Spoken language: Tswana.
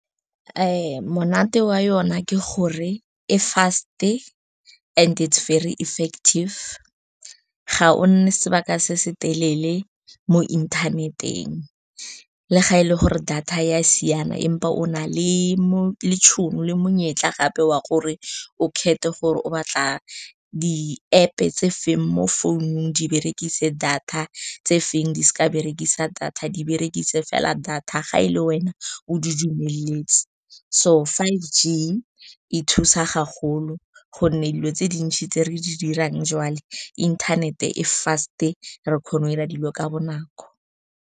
Monate wa yona ke gore e fast-e and it's very effective. Ga o nne sebaka se se telele mo inthaneteng, le fa e le gore data ya siana, empa o na le le tshono le monyetla gape wa gore o kgethe gore o batla di-App-e tse feng mo founung, di berekise data, tse feng di seka berekisa data, di berekise fela data ga e le wena o di dumeletse. So, five g e thusa gagolo, gonne dilo tse dintsi tse re di dirang jwale inthanete e fast-e, re kgona go dira dilo ka bonako.